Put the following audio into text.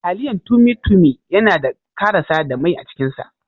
Taliyan tummy tummy yanada karasa da mai acikin sa.